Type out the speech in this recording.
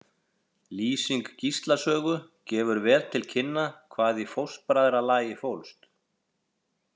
Lýsing Gísla sögu gefur vel til kynna hvað í fóstbræðralagi fólst.